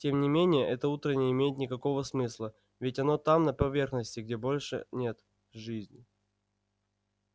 тем не менее это утро не имеет никакого смысла ведь оно там на поверхности где больше нет жизни